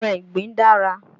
Ẹran ìgbín dára.